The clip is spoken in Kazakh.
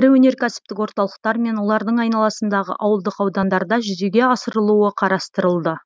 ірі өнеркәсіптік орталықтар мен олардың айналасындағы ауылдық аудандарда жүзеге асырылуы қарастырылды